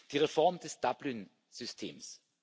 Die Reform des Dublin Systems.